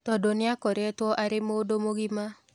Tondũ nĩakoretwo arĩ mũndũ mũgima.